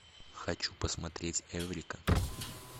хочу посмотреть эврика